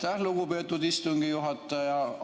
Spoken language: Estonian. Aitäh, lugupeetud istungi juhataja!